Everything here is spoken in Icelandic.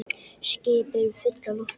Skip eru full af lofti